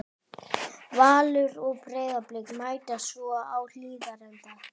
Valur og Breiðablik mætast svo á Hlíðarenda.